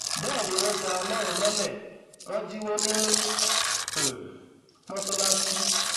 bẹẹ ni wọn já ọlọrun lọlẹ wọn jíwọ ní um mọsálásì